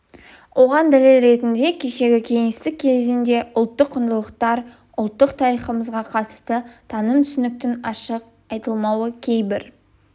оған дәлел ретінде кешегі кеңестік кезеңде ұлттық құндылықтар ұлттық тарихымызға қатысты таным түсініктің ашық айтылмауы кейбір